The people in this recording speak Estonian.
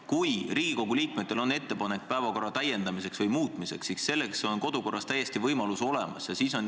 Kui Riigikogu liikmetel on ettepanek päevakorda täiendada või muuta, siis selleks on kodu- ja töökorras võimalus täiesti olemas.